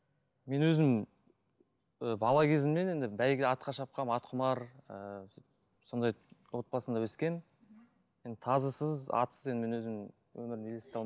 мен өзім ы бала кезімнен енді бәйге атқа шапқанмын атқұмар ыыы сондай отбасында өскенмін енді тазысыз атсыз мен өзім өмірімді елестете